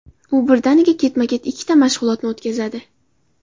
U birdaniga ketma-ket ikkita mashg‘ulotni o‘tkazadi.